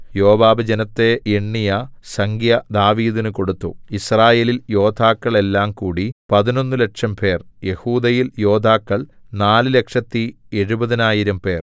യോവാബ് ജനത്തെ എണ്ണിയ സംഖ്യ ദാവീദിന് കൊടുത്തു യിസ്രായേലിൽ യോദ്ധാക്കൾ എല്ലാംകൂടി പതിനൊന്നുലക്ഷംപേർ യെഹൂദയിൽ യോദ്ധാക്കൾ നാല് ലക്ഷത്തി എഴുപതിനായിരം പേർ